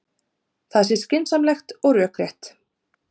Það sé skynsamlegt og rökrétt